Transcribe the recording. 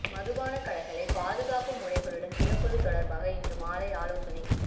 மதுபானக் கடைகளை பாதுகாப்பு முறைகளுடன் திறப்பது தொடர்பாக இன்று மாலை ஆலோசனை